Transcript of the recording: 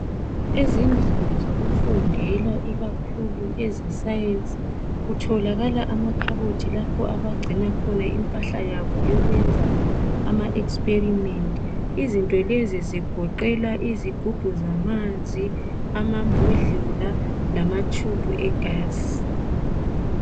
ezindlinizokufundela ikakhulu ezesayensi kutholakala amakhabothi lapha abacina khona impahla yabo yokuyenza ama experiments izinto lezi zigoqela izigubhu zamanzi amambhodlela lama tshubhu we gasi